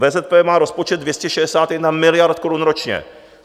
VZP má rozpočet 261 miliard korun ročně.